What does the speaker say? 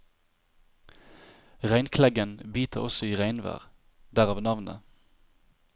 Regnkleggen biter også i regnvær, derav navnet.